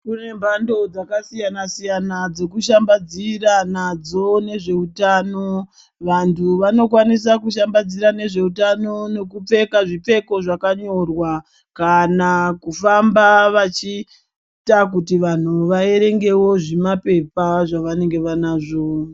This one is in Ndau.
Kune mpando dzakasiyana siyana dzekushambadzira nadzo nezveutano vanhu vanokwanisa kushambadzira nezveutano nokupfeka zvipfeko zvakanyorwa kana kufamba vachiita kuti vanhu vaerengewo zvimapepanzvavanenge vanazvo.